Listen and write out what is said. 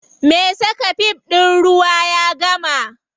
Me saka fif ɗin ruwa ya gama.